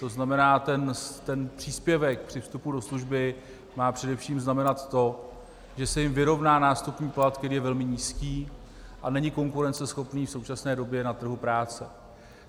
To znamená, ten příspěvek při vstupu do služby má především znamenat to, že se jim vyrovná nástupní plat, který je velmi nízký a není konkurenceschopný v současné době na trhu práce.